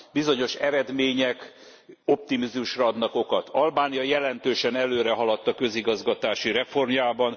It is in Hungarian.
Bizonyos eredmények optimizmusra adnak okot Albánia jelentősen előrehaladt a közigazgatási reformjában.